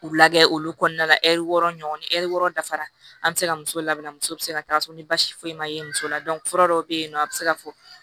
K'u lagɛ olu kɔnɔna la ɛriw ɲɔgɔn ɛri wɔɔrɔ dafara an bɛ se ka muso labɛnna musow bɛ se ka taga so ni basi foyi ma ye muso la fura dɔw bɛ yen nɔ a bɛ se ka fɔ